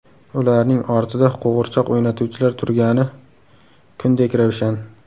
Ularning ortida qo‘g‘irchoq o‘ynatuvchilar turgani kundek ravshan.